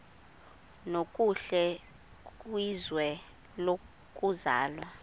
nokuhle kwizwe lokuzalwa